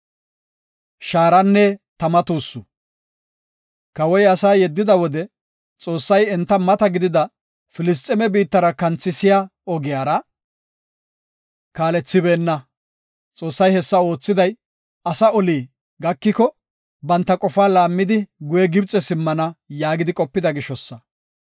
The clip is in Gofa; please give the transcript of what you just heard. Kawoy asaa yeddida wode, Xoossay enta mata gidida Filisxeeme biittara kanthisiya ogiyara kaalethibeenna. Xoossay hessa oothiday, “Asaa oli gakiko, banta qofaa laammidi guye Gibxe simmana” yaagidi qopida gishosa.